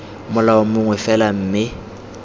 molao mongwe fela mme d